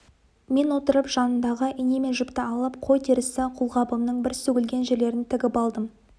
мен отырып жанымдағы ине мен жіпті алып қой терісі қолғабымның бір сөгілген жерлерін тігіп алдым